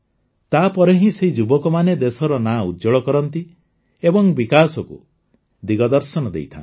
ତାପରେ ହିଁ ସେହି ଯୁବକମାନେ ଦେଶର ନାଁ ଉଜ୍ଜ୍ୱଳ କରନ୍ତି ଏବଂ ବିକାଶକୁ ଦିଗଦର୍ଶନ ଦେଇଥାନ୍ତି